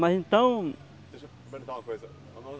Mas então... Deixa eu perguntar uma coisa.